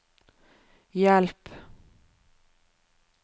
hjelp